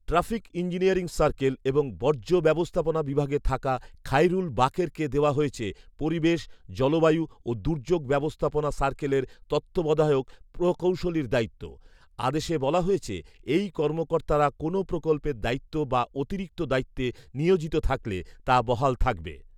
Traffic engineering circle এবং বর্জ্য ব্যবস্থাপনা বিভাগে থাকা খাইরুল বাকেরকে দেওয়া হয়েছে পরিবেশ, জলবায়ু ও দুর্যোগ ব্যবস্থাপনা সার্কেলের তত্ত্বাবধায়ক প্রকৌশলীর দায়িত্ব। আদেশে বলা হয়েছে, এই কর্মকর্তারা কোনো প্রকল্পের দায়িত্ব বা অতিরিক্ত দায়িত্বে নিয়োজিত থাকলে তা বহাল থাকবে